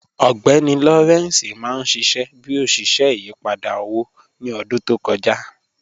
Mr Lawrence mà n ṣiṣẹ̀ bí oṣiṣẹ̀ ìyìpadà owó ni ọ̀dún tó kọja